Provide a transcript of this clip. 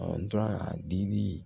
dili